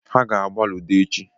Ha ga-agba ludo echi.